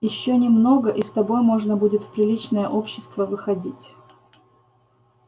ещё немного и с тобой можно будет в приличное общество выходить